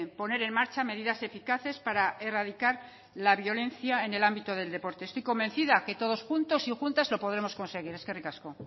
poner en marcha medidas eficaces para erradicar la violencia en el ámbito del deporte estoy convencida que todos juntos y juntas lo podremos conseguir eskerrik asko